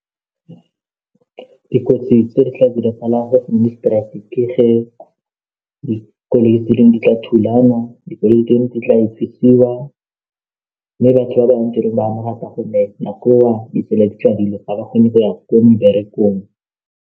Dikotsi tse di tla diragalang ga gole strike ke ge dikoloi tse dingwe di tla thulana dikoloi tse dingwe di tla mme batho ba bangwe tirong ditsela di ga ba kgone go ya ko meberekong.